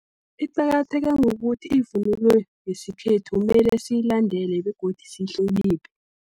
Iqakatheke ngokuthi, ivunulo yesikhethu mele siyilandela begodu siyihloniphe.